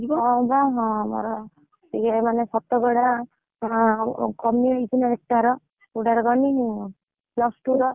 ଆଉ ଜାଣିନୁ ଆମର, ଏ ଯୋଉ ମାନେ, ଶତକଡା, କମି ଯାଉଛି ଆର, କୋଉଟା ର କହନି, plus two ର